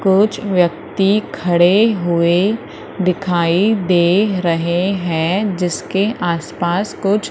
कुछ व्यक्ति खड़े हुए दिखाई दे रहे हैं जिसके आसपास कुछ--